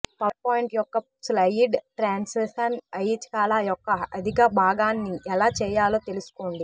PowerPoint యొక్క slide transition ఐచ్ఛికాల యొక్క అధికభాగాన్ని ఎలా చేయాలో తెలుసుకోండి